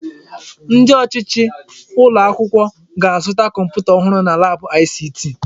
Ndi ọchịchị ụlọ akwụkwọ ga-azụta kọmputa ọhụrụ na laabụ ICT.